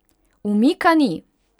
Umika ni!